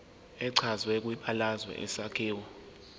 echazwe kwibalazwe isakhiwo